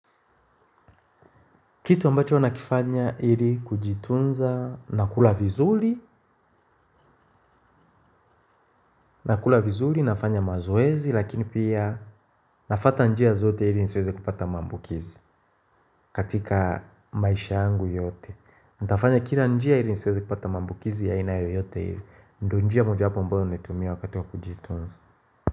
Kitu ambacho nakifanya ili kujitunza, nakula vizuli, nakula vizuli, nafanya mazoezi, lakini pia nafata njia zote ili nisiweze kupata mambukizi katika maisha yangu yote. Nitafanya kila njia ili nisiweze kupata maambukizi ya ainayo yoyote ili. Ndio njia mojawapo ambaya naitumia wakati wa kujitunza.